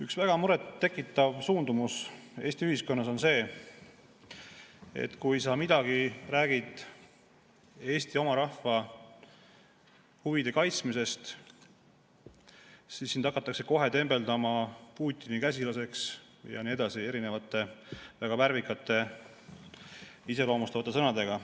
Üks väga muret tekitav suundumus Eesti ühiskonnas on see, et kui sa midagi räägid Eesti oma rahva huvide kaitsmisest, siis sind hakatakse kohe tembeldama Putini käsilaseks ja nii edasi, erinevate väga värvikate, iseloomustavate sõnadega.